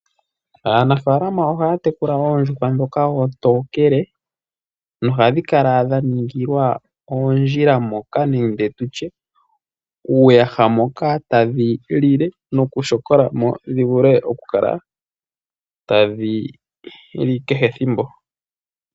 Aanafaalama ohaya tekula oondjuhwa ndhoka oontokele nohadhi kala dha ningilwa oondjila moka nenge tutye uuyaha moka tadhi lile noku shokola mo dhi vule okukala tadhi li kehe thimbo.